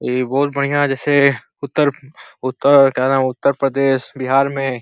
इ बहुत बढ़िया जैसे उतर उतर का नाम ह उत्तर प्रदेश बिहार में --